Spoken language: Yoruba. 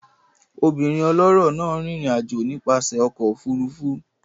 Obìnrin ọlọ́rọ̀ náà rìnrìn àjò nípasẹ̀ ọkọ̀ òfurufú